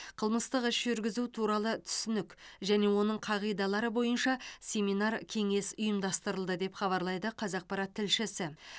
қылмыстық іс жүргізу туралы түсінік және оның қағидалары бойынша семинар кеңес ұйымдастырылды деп хабарлайды қазақпарат тілшісі